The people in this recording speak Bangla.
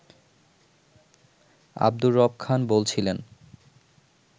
আব্দুর রব খান বলছিলেন